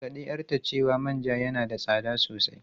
Ta gargadi 'yarta cewa manja yana da tsada sosai.